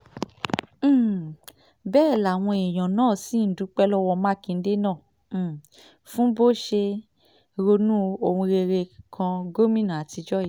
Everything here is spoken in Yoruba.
um bẹ́ẹ̀ làwọn èèyàn náà ṣì ń dúpẹ́ lọ́wọ́ mákindè náà um fún bó ṣe ronú ohun rere kan gómìnà àtijọ́ yìí